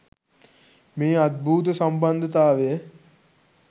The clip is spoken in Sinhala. මේ අද්භූත සම්බන්ධතාවය